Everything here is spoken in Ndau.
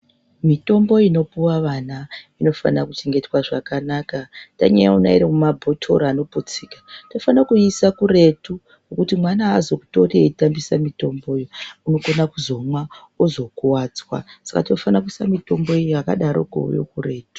Mitombo inopuwa vana inofana kuchengetwa zvakanaka tanyaiona irimumabhotoro anoputsika tinona kuitora toiisa kuretu kuti mwana aazotori eishandisa mitomboyo unokona kuzomwa ozokuwadzwa Saka tinofana kuisa mitombo yakadaroko yo kuretu.